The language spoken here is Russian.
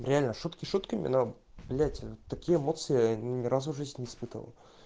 реально шутки шутками но блять такие эмоции ни разу в жизни не испытывал